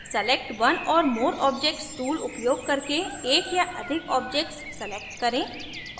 select one or more objects tool उपयोग करके एक या अधिक objects select करें